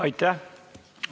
Aitäh!